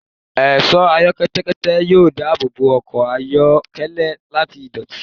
Ẹṣọ pẹtẹpẹtẹ yoo daabobo ọkọ ayọkẹlẹ lati idoti